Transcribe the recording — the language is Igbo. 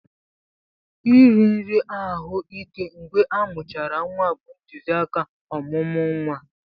Iri nri ahụ ike mgbe amuchara nwa bụ ntụzịaka ọmụmụ nwa.